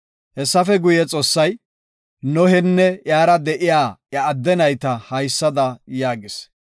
Hessafe guye, Xoossay Nohenne iyara de7iya iya adde nayta haysada yaagis;